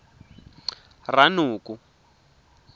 ranoko